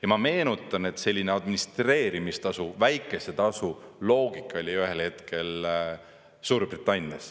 Ja ma meenutan, et selline administreerimistasu, väikese tasu loogika oli ühel hetkel Suurbritannias.